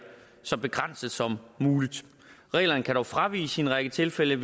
så begrænset som muligt reglerne kan dog fraviges i en række tilfælde